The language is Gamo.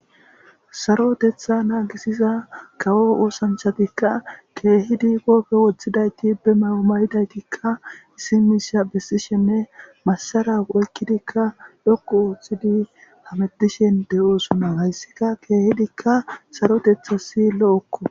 Sarotetha naagisiza kawo oosanchatikka keehidi goofe woththidayti be maomayidaytikka issimisha bessishenne masara oykkidikka dhokku ooththidi hametishen de7oosona hayssika keehidikka sarotethasi lo7okko.